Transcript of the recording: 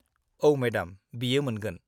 औ, मेडाम, बियो मोनगोन।